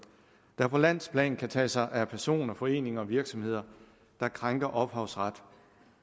der på landsplan kan tage sig af personer foreninger og virksomheder der krænker ophavsret